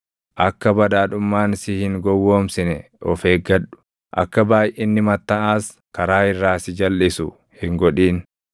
Akka badhaadhummaan si hin gowwoomsine of eeggadhu; akka baayʼinni mattaʼaas karaa irraa si jalʼisu hin godhin.